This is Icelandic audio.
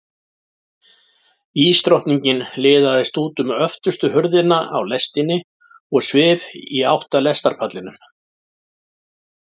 Ísdrottningin liðaðist út um öftustu hurðina á lestinni og svif í átt að lestarpallinum.